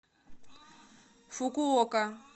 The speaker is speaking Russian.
фукуока